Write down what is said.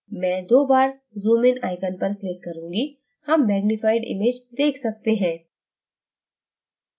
मैं दो बार zoom in icon पर click करूँगी हम मैग्नीफाइड image देख सकते हैं